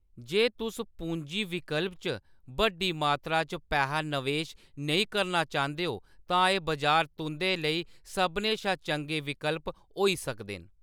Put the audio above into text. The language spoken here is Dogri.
जे तुस पूंजी विकल्प च बड्डी मात्तरा च पैहा नवेश नेईं करना चांह्‌‌‌दे ओ, तां एह्‌‌ बजार तुंʼदे लेई सभनें शा चंगे विकल्प होई सकदे न।